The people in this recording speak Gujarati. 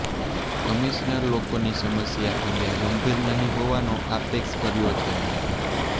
કમિશનર લોકોની સમસ્યા અંગે ગંભીર નહી હોવાનો આક્ષેપ કર્યો છે